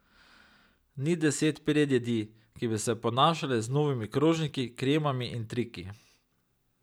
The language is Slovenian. Ni deset predjedi, ki bi se ponašale z novimi krožniki, kremami in triki.